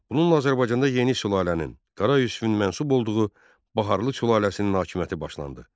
Bununla Azərbaycanda yeni sülalənin, Qara Yusifin mənsub olduğu Baharlı sülaləsinin hakimiyyəti başlandı.